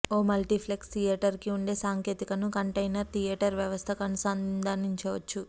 ఓ multiplex థియేటర్కి ఉండే సాంకేతికతను కంటెయినర్ థియేటర్ వ్యవస్థకు అనుసంధానించొచ్చు